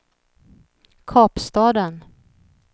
Kapstaden